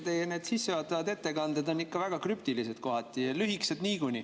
Teie sissejuhatavad ettekanded on kohati ikka väga krüptilised ja lühikesed.